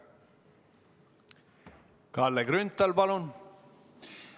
Kalle Grünthal, palun!